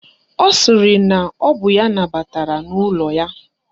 Ọ sịrị na ọ bụ ya nabatara n'ụlọ ya